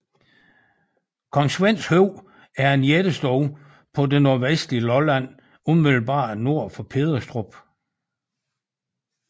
Kong Svends Høj er en jættestue på det nordvestlige Lolland umiddelbart nord for Pederstrup